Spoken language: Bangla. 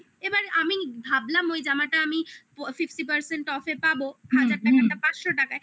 এবার আমি ভাবলাম ওই জামাটা আমি fifty person off এ পাবো হাজার টাকাটা পাঁচশো টাকায়